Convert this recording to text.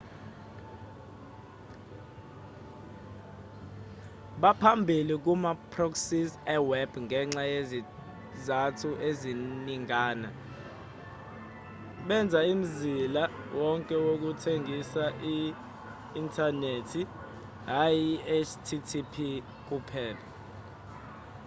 baphambili kuma proxies eweb ngenxa yezizathu eziningana benza umzila wonke wokuthengisa i-inthanethi hhayi i-http kuphela